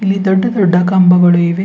ಇಲ್ಲಿ ದೊಡ್ಡ ದೊಡ್ಡ ಕಂಬಗಳು ಇವೆ.